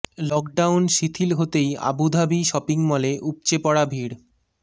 lockdown শিথিল হতেই Abu Dhabi shopping মলে উপচে পড়া ভিড়